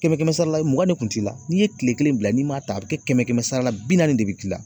Kɛmɛ-kɛmɛ sara la mugan de kun t'i la, n'i ye tile kelen bila n'i m'a ta a bi kɛ kɛmɛ-kɛmɛ sara la bi naani de bi k'i la.